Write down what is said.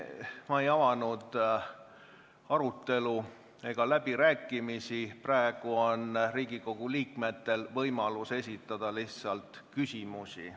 Ma ei avanud arutelu ega läbirääkimisi, praegu on Riigikogu liikmetel lihtsalt võimalus esitada küsimusi.